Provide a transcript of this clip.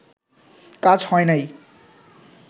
কাজ হয় নাই